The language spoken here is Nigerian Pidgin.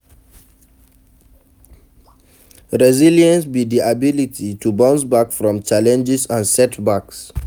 resilience be di ability to bounce back from challenges and setbacks.